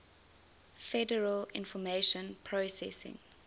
federal information processing